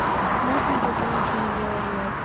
можно как и раньше мы делали